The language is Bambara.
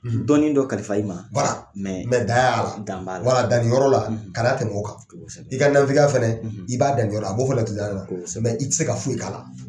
Dɔnni dɔ kalifa i ma dan y'a la dan nin yɔrɔ la kana tɛmɛ o kan i ka nafigiya fana i b'a dan nin yɔrɔ i tɛ se ka foyi k'a la